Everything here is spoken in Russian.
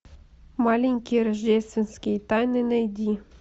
маленькие рождественские тайны найди